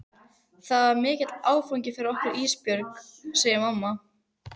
Þetta er mikill áfangi fyrir okkur Ísbjörg, segir mamma.